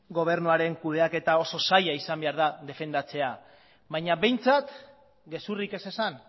gobernuaren kudeaketa oso zaila izan behar da defendatzea baina behintzat gezurrik ez esan